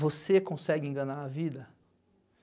Você consegue enganar a vida?